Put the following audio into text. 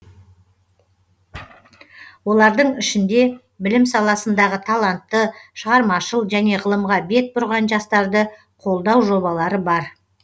олардың ішінде білім саласындағы талантты шығармашыл және ғылымға бет бұрған жастарды қолдау жобалары бар